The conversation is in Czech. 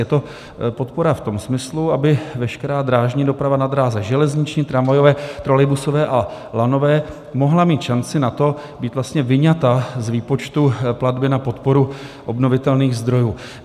Je to podpora v tom smyslu, aby veškerá drážní doprava na dráze železniční, tramvajové, trolejbusové a lanové mohla mít šanci na to, být vyňata z výpočtu platby na podporu obnovitelných zdrojů.